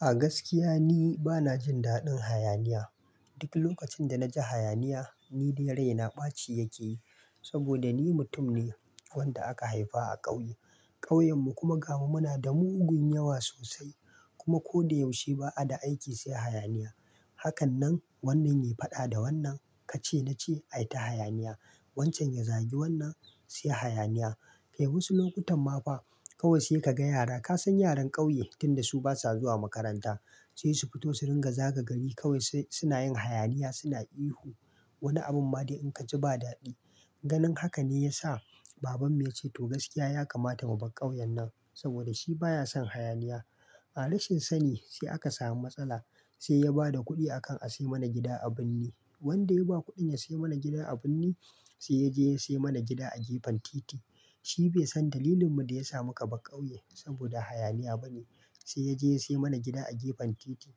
A gaskiya ni bana jin daɗin hayaniya. Duk lokacin da na ji hayaniya, ni dai raina ɓaci yake yi. Saboda ni mutum ne wanda aka haifa a ƙauye. Ƙauyenmu kuma ga mu muna da mugun yawa sosai. Kuma ko da yaushe ba a da aiki sai hayaniya. Hakan nan wannan yayi faɗa da wannan ka-ce-na-ce- ayi ta hayaniya. Wancan ya zagi wannan, sai hayaniya. Kai wasu lokutan ma fa kawai sai ka ga yara. Ka san yaran ƙauye tun da su basa zuwa makaranta. Sai su fito su ringa zaga gari kawai sai suna yin hayaniya suna ihu. Wani abun ma dai in ka ji ba daɗi. Ganin haka ne ya sa babanmu ya ce "To gaskiya ya kamata mu bar ƙauyen nan" saboda shi baya son hayaniya. A rashin sani sai aka samu matsala. Sai ya ba da kuɗi akan a sai mana gida a birni. Wanda ya ba kuɗin ya sai mana gida a birni sai ya je ya sai mana gida a gefen titi. Shi bai san dalilin mu da ya sa muka bar ƙauye saboda hayaniya ba ne. Sai ya je ya sai mana gida a gefen titi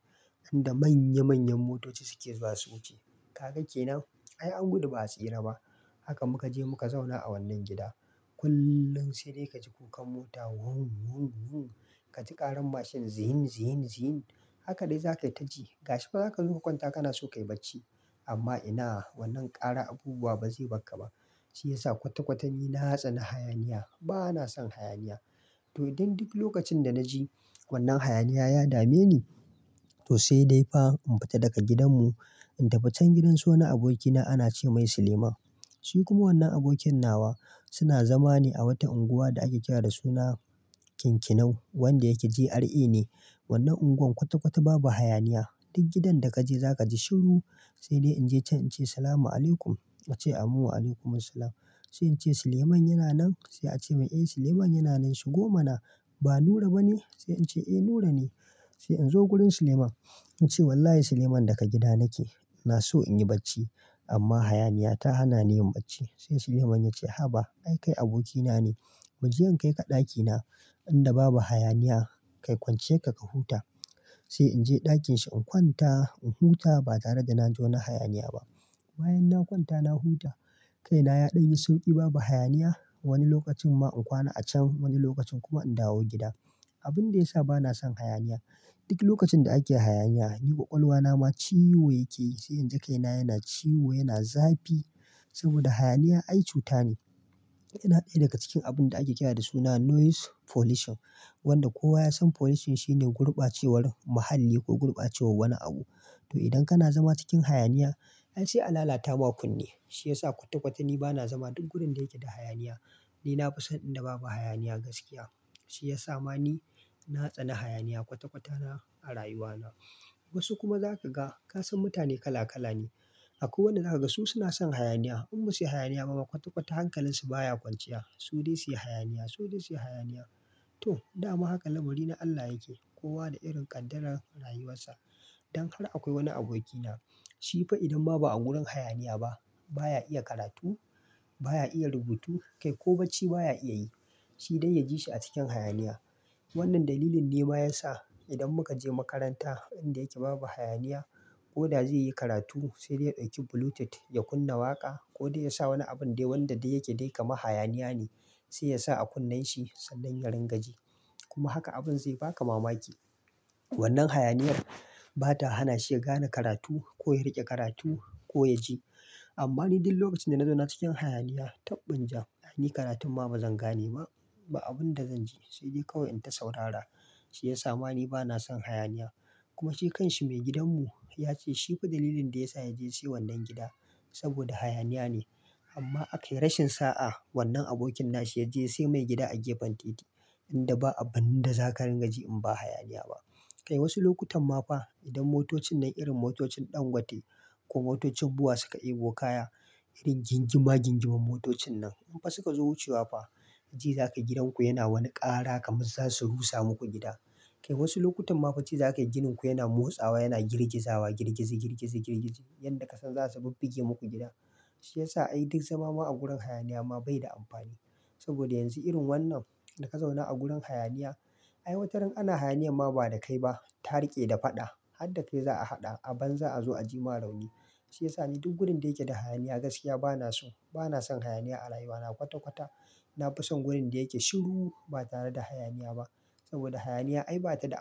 inda manya manyan motoci suke zuwa su wuce. Kaga kenan ai an gudu ba a tsira ba! Haka muka je muka zauna a wannan gida. Kullum sai dai ka ji kukan mota "won, won, won." Ka ji ƙaran mashin "zin, zin, zin." Haka dai za ka yi ta ji. Gashi ma za ka zo ka kwanta kana so ka yi bacci. Amma ina wannan ƙaran abubuwa ba zai bar ka ba. Shi ya sa kwata kwata ni na tsani hayaniya. Ba na son hayaniya. To idan duk lokacin da na ji wannan hayaniya ya dame ni, to sai dai fa in fita daga gidanmu in tafi can gidan su wani abokina ana ce ma sa Suleiman. Shi kuma wannan abokin nawa suna zama ne a wata unguwa da ake kira da suna Kinkinau wanda yake GRA ne. Wannan unguwar kwata kwata babu hayaniya. Duk gidan da ka je za ka ji shiru. Sai dai in je can in ce "Salama alaikum." A ce "Amin wa alaikumus salam." Sai in ce "Suleiman yana nan?" Sai a ce min "Eh, Suleiman yana nan. Shigo mana. Ba Nura bane?" Sai in ce "Eh, Nura ne." Sai in zo wurin Suleiman in ce "Wallahi Suleiman daga gida nake. Na so in yi bacci amma hayaniya ta hana ni yin bacci." Sai Suleiman ya ce "Haba! Ai, kai abokina ne. "Mu je in kai ka ɗakina inda babu hayaniya. Kai kwanciyar ka ka huta." Sai in je ɗakinshi in kwanta in huta ba tare da na ji wani hayaniya ba. Bayan na kwanta na huta, kai na ya ɗan yi sauƙi babu hayaniya. Wani lokacin ma in kwana a can wani lokacin kuma in dawo gida. Abin da ya sa ba na son hayaniya duk lokacin da ake hayaniya ni ƙwaƙwalwa na ma ciwo yake yi. Sai in ji kai na yana ciwo, yana zafi. Saboda hayaniya ai cuta ne. Yana ɗaya daga cikin abun da ake kira da suna "noise pollution." Wanda kowa ya san pollution shine gurbacewar muhalli ko gurbacewar wani abu. To idan kana zama cikin hayaniya, ai sai a lalata ma kunne. Shi ya sa kwata kwata ni bana zama duk wurin da yake da hayaniya. Ni na fi son inda babu hayaniya gaskiya. Shi ya sa ma ni na tsani hayaniya kwata-kwata ma a rayuwa na. Wasu kuma za ka ga ka san mutane kala kala ne. Akwai wanda za ka ga su suna son hayaniya. In ba su yi hayaniya ba ma kwata-kwata hankalinsu baya kwanciya. Su dai su yi hayaniya, su dai su yi hayaniya. To, dama haka lamari na Allah yake. Kowa da irin ƙaddarar rayuwar sa. Dan har akwai wani abokina. Shi fa idan ma ba a wurin hayaniya ba, ba ya iya karatu, ba ya iya rubutu kai ko bacci baya iya yi. Shi dai ya ji shi a cikin hayaniya. Wannan dalilin ne ma ya sa idan muka je makaranta inda yake babu hayaniya koda zai yi karatu sai dai ya ɗauki bluetooth ya kunna waƙa ko dai ya sa wani abun dai wanda dai yake dai kamar hayaniya ne. Sai ya sa a kunnen shi sannan ya ringa ji. Kuma haka abun zai baka mamaki. Wannan hayaniyar ba ta hana shi ya gane karatu ko ya riƙe karatu ko ya ji. Amma ni duk lokacin da na zauna cikin hayaniya taɓɓunjan. Ni karatun ma ba zan gane ba, ba abunda zan ji. Sai dai kawai in ta saurara. Shi ya sa ma ni bana son hayaniya. Kuma shi kan shi maigidan mu ya ce shi fa dalilin da ya sa ya je ya sai wannan gida saboda hayaniya ne. Amma a kai rashin sa'a wannan abokin na shi ya je ya sai mai gida a gefen titi inda ba abin da za ka ringa ji in ba hayaniya ba. Kai wasu lokutan ma fa idan motocin nan irin motocin ɗangote ko motocin BUA suka ɗebo kaya irin gingima-gingiman motocin nan in fa suka zo wucewa fa ji za ka yi gidan ku yana wani ƙara kamar za su rusa muku gida. Kai wasu lokutan ma fa ji za ka yi ginin ku yana motsawa yana girgizawa girgizi, girgizi, girgizi. Yanda ka san za su bubbuge muku gida. Shi ya sa ai duk zama ma a gurin hayaniya ma bai da amfani. Saboda yanzu irin wannan da ka zauna a gurin hayaniya ai wataran ana hayaniyan ma ba da kai ba. Ta riƙe da faɗa har da kai za a haɗa a banza a zo a ji ma rauni. Shi ya sa ni duk wurin da yake da hayaniya gaskiya bana so. Bana son hayaniya a rayuwa na kwata kwata. Na fi son wurin da yake shiru ba tare da hayaniya ba. Saboda hayaniya ai ba ta da amfani.